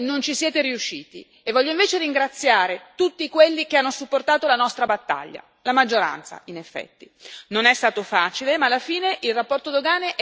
A tutti coloro che hanno provato a fermarci io voglio dire che non ci sono riusciti e voglio invece ringraziare tutti quelli che hanno supportato la nostra battaglia, la maggioranza in effetti.